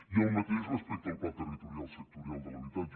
i el mateix respecte al pla territorial sectorial de l’habitatge